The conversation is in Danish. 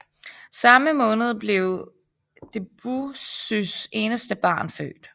Samme måned blev Debussys eneste barn født